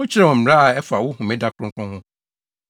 Wokyerɛɛ wɔn mmara a ɛfa wo homeda kronkron ho.